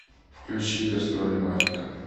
включи гастроли мафика